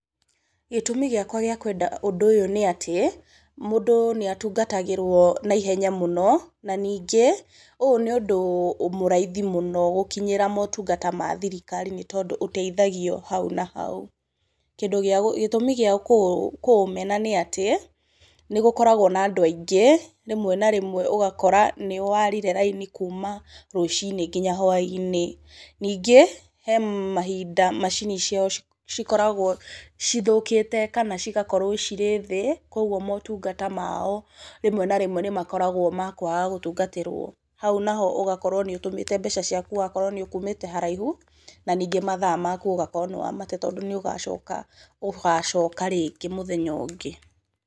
Gĩtũmi gĩakwa gĩa kwenda ũndũ ũyũ nĩ atĩ, mũndũ nĩ atungatagĩrwo na ihenya mũno, na ningĩ ũyũ nĩ ũndũ mũraithi mũno gũkinyĩra motungata ma thirikari, nĩ tondũ ũteithagio hau na hau. Gĩtũmi gĩa kũũmena nĩ atĩ, nĩ gũkoragwo na andũ aingĩ rĩmwe na rĩmwe ũgakora nĩ warire raini kuuma rũcinĩ nginya hwa-inĩ. Ningĩ, he mahinda macini ciao cikoragwo cithũkĩte kana cigakorwo cirĩ thĩ, kũguo motungata mao rĩmwe na rĩmwe nĩ makoragwo ma kwaga gũtungatĩrwo. Hau na ho ũgakorwo nĩ ũgũtũmĩrĩte mbeca ciaku wakorwo nĩ ũkumĩte haraihu na ningĩ mathaa maku ũgakorwo nĩ wamate tondũ nĩ ũgacoka rĩngĩ mũthenya ũngĩ.